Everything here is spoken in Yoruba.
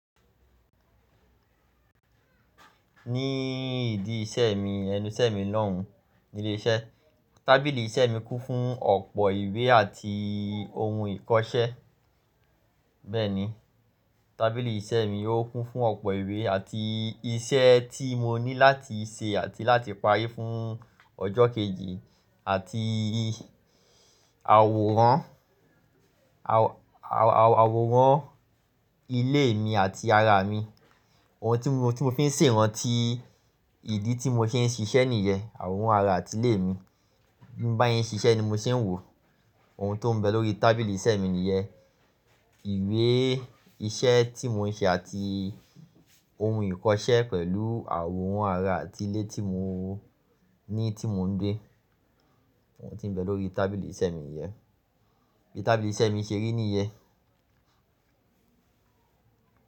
Ní ìdí iṣẹ́ mi, ẹnu ìṣẹ́ mi lòún nílé iṣẹ́. Tábìlì iṣẹ́ mi kún fún ọ̀pọ̀ ìwé àti ohun ìkọṣẹ́. Bẹ́ẹ̀ ni, tábìlì iṣẹ́ mi ó kún fún ọ̀pọ̀ ìwé àti iṣẹ́ tí mo ní láti ṣe àti láti parí fún ọjọ́ kejì àti àwòrán, àwòrán ilé mi àti ara mi. Ohun tí mo, tí mo fi n ṣe ìrántí ìdí tí mo ṣe ń ṣiṣẹ́ nìyẹ́, àwòrán ara àti ilé mi. Bí mo bá ṣe ń ṣiṣẹ́ ni mo ṣe ń wò ó. Ohun tó n bẹ lórí tábìlì iṣẹ́ mi nìyẹ́. Ìwé iṣẹ́ tí mo n ṣe àti ohun ìkọṣẹ́ pẹ̀lú àwòrán ara àti ilé tí mo ní tí mo n gbé. Ohun tí n bẹ lórí tábìlì iṣẹ́ mi nìyẹ́. Bí tábìlì iṣẹ́ mi ṣe rí nìyẹ́